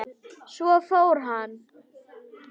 Svo fór hann.